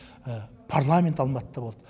парламент алматыда болды